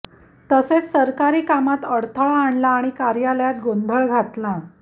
तसेच सरकारी कामात अडथळा आणला आणि कार्यालयात गोंधळ घातला